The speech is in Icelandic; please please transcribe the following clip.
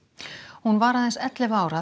hún var aðeins ellefu ára